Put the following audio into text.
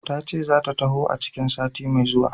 Tace zata taho a cikin sati mai zuwa.